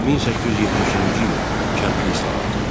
1870-ci il kəndli islahatı.